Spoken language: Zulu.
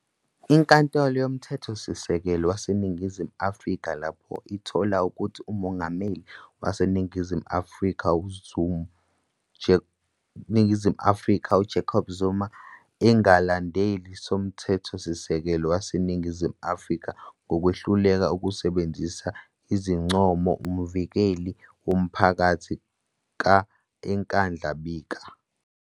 Inkantolo Yomthethosisekelo waseNingazimu Afika lapho ithola ukuthi uMongameli waseNingizimu Afrika Jacob Zuma engalandeli soMthethosisekelo waseNingizimu Afrika ngokwehluleka ukusebenzisa izincomo uMvikeli woMphakathi ka- eNkandla bika.